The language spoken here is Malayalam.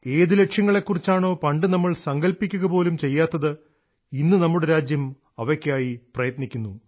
ഏതു ലക്ഷ്യങ്ങലേക്കുറിച്ചാണോ പണ്ടു നമ്മൾ സങ്കൽപ്പിക്കുകപോലും ചെയ്യാത്തത് ഇന്നു നമ്മുടെ രാജ്യം അവയ്ക്കായി പ്രയത്നിക്കുന്നു